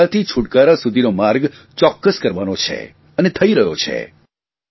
સમસ્યાથી છૂટકારા સુધીનો માર્ગ ચોક્કસ કરવાનો છે અને થઇ રહ્યો છે